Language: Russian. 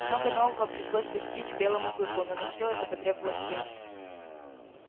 много нового пришлось постичь белому клыку но на всё это потребовалось время